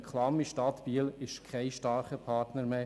Die klamme Stadt Biel ist kein starker Partner mehr.